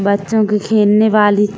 बच्चों के खेलने वाली --